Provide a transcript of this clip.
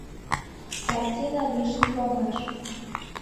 картина лишний багаж